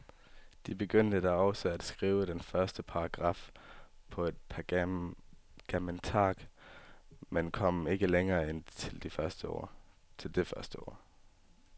De begyndte da også at skrive den første paragraf på et pergamentark, men kom ikke længere end til det første ord.